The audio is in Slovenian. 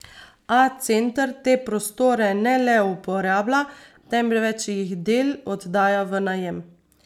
A center te prostore ne le uporablja, temveč jih del oddaja v najem.